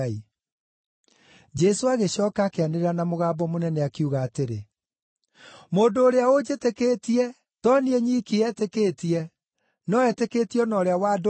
Jesũ agĩcooka akĩanĩrĩra na mũgambo mũnene, akiuga atĩrĩ, “Mũndũ ũrĩa ũnjĩtĩkĩtie, to niĩ nyiki etĩkĩtie, no etĩkĩtie o na ũrĩa wandũmire.